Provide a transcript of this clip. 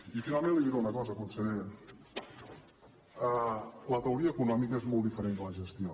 i finalment li diré una cosa conseller la teoria econòmica és molt diferent de la gestió